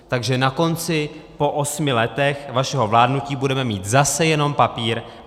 Takže na konci, po osmi letech vašeho vládnutí, budeme mít zase jenom papír.